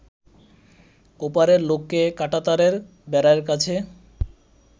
ওপারের লোককে কাঁটাতারের বেড়ার কাছে